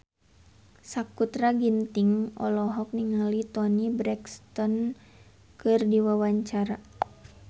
Sakutra Ginting olohok ningali Toni Brexton keur diwawancara